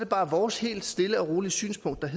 bare vores helt stille og rolige synspunkt at